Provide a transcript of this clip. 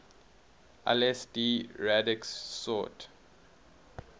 lsd radix sort